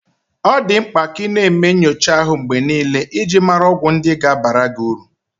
Ọ dị mkpa ka ị na-eme nyocha ahu mgbe niile iji mara ọgwụ ndị ga-abara gị uru.